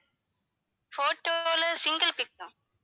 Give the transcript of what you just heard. photo ல single pic தான்